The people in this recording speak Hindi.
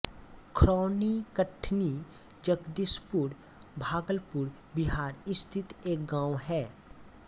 खरौनीकठन्नी जगदीशपुर भागलपुर बिहार स्थित एक गाँव है